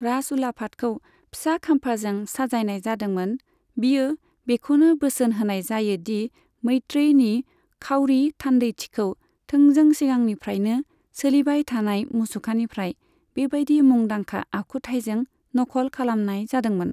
राजउलाफादखौ फिसा खाम्फाजों साजायनाय जादोंमोन, बियो बेखौनो बोसोन होनाय जायो दि मैत्रेयनि खाउरि थान्दैथिखौ थोंजों सिगांनिफ्रायनो सोलिबाय थानाय मुसुखानिफ्राय बेबायदि मुंदांखा आखुथायजों नखल खालामनाय जादोंमोन।